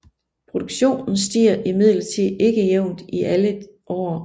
Produktionen stiger imidlertid ikke jævnt i alle år